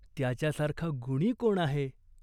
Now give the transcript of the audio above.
त्याच्यासारखा गुणी कोण आहे ?